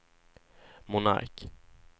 Monark